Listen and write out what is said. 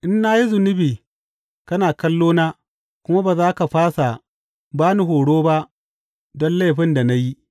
In na yi zunubi kana kallo na kuma ba za ka fasa ba ni horo ba don laifin da na yi.